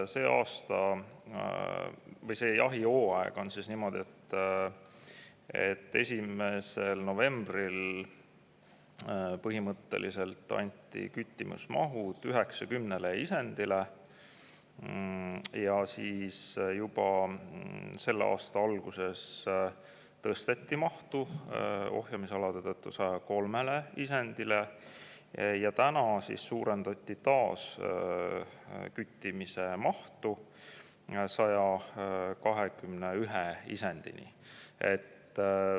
See aasta või see jahihooaeg on niimoodi, et 1. novembril põhimõtteliselt küttimismahuks 90 isendit, aga juba selle aasta alguses tõsteti mahtu ohjamisalade tõttu 103 isendile ja täna suurendati küttimise mahtu 121 isendini.